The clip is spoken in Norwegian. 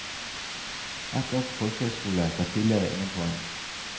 Ett år på folkehøyskole ga tidligere ingen poeng.